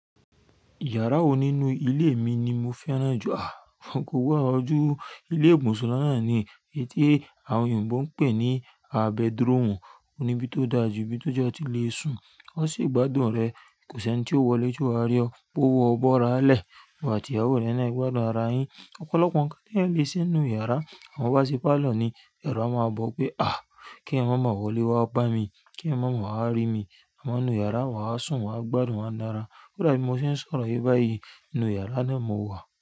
Yàrá wo nínú ilé mi ni mo fẹ́ràn jù? Àh! Kò gbọdọ̀ ju ilé ìbùsùn lọ náà ni, ii ti àwọn oyìnbó ń pè ní a, bedroom. Òun ní bí tó dà jù, bí tó jẹ́ a ti lè sùn, ó sì gbádùn rẹ. Kò sí ẹni tí ó wọlé tí o wà á rí ọ, pé o, o bọ́ra lẹ. Ìwọ àti ìyàwó rẹ náà, ẹ gbádùn ara yín. Ọ̀pọ̀lọpọ̀ nǹkan tí èyàn lè ṣe n nú yàrá. Àmọ́ tó bá ṣe parlour ni, ẹ̀rù a máa bọ̀ o pé àh! Kí èyàn máa mo wọ́ lé wá bá mi, kí èyàn mo mọ̀ wá rí mi. Àmọ́ ínú yàrá wa á sùn, wa á gbádùn, wa nára. Kò dà bí mo ṣe ń sọ̀rọ̀ yìí báyìí ínú yàrá náà mo wà.